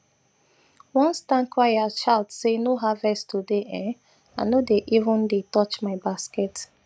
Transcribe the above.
once town crier shout say noharvest today um i no dey even dey even touch my basket